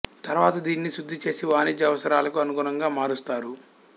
తర్వాత దీనిని శుద్ధి చేసి వాణిజ్య అవసరాలకు అనుగుణంగా మారుస్తారు